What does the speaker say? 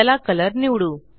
चला कलर निवडू